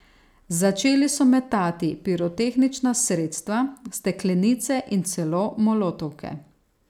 Začeli so metati pirotehnična sredstva, steklenice in celo molotovke.